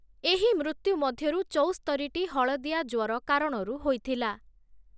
ଏହି ମୃତ୍ୟୁ ମଧ୍ୟରୁ ଚଉସ୍ତରିଟି ହଳଦିଆ ଜ୍ୱର କାରଣରୁ ହୋଇଥିଲା ।